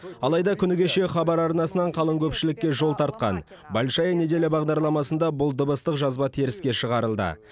алайда күні кеше хабар арнасынан қалың көпшілікке жол тартқан большая неделя бағдарламасында бұл дыбыстық жазба теріске шығарылды